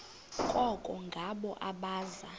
koko ngabo abaza